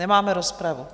Nemáme rozpravu.